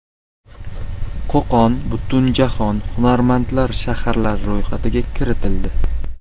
Qo‘qon Butunjahon hunarmandlar shaharlari ro‘yxatiga kiritildi.